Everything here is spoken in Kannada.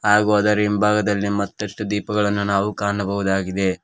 ಹಾಗು ಅದರ ಹಿಂಭಾಗದಲ್ಲಿ ಮತ್ತಷ್ಟು ದೀಪಗಳನ್ನು ನಾವು ಕಾಣಬಹುದಾಗಿದೆ.